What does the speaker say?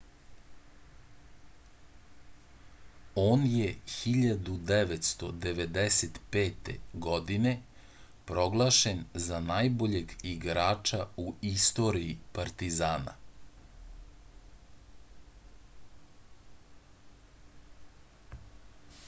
on je 1995. godine proglašen za najboljeg igrača u istoriji partizana